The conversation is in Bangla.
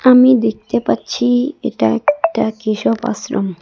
আমি দেখতে পাচ্ছি-ই এটা একটা কেশব আশ্রম।